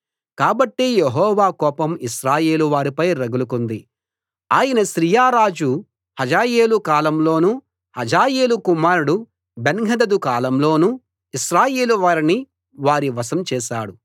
కాబట్టి యెహోవా కోపం ఇశ్రాయేలు వారిపై రగులుకుంది ఆయన సిరియా రాజు హజాయేలు కాలంలోనూ హజాయేలు కుమారుడు బెన్హదదు కాలంలోనూ ఇశ్రాయేలు వారిని వారి వశం చేశాడు